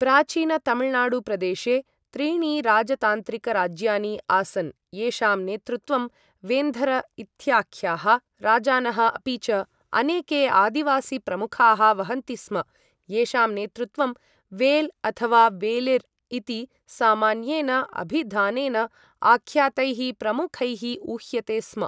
प्राचीनतमिलनाडुप्रदेशे त्रीणि राजतान्त्रिकराज्यानि आसन्, येषां नेतृत्वं वेन्धर् इत्याख्याः राजानः अपि च अनेके आदिवासीप्रमुखाः वहन्ति स्म, येषां नेतृत्वं वेल् अथवा वेलिर् इति सामान्येन अभिधानेन आख्यातैः प्रमुखैः उह्यते स्म।